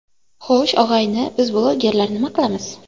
Xo‘sh, og‘ayni, biz blogerlar nima qilamiz?